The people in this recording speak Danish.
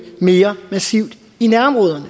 mere massivt